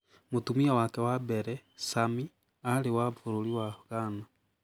Mũtumia wake wa mbere, Sami, aarĩ wa bũrũri wa Ghana.